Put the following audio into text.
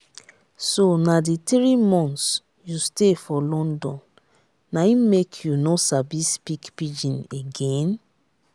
so na the three months you stay for london na im make you no sabi speak pidgin again?